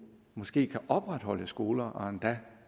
måske kan opretholde skoler og endda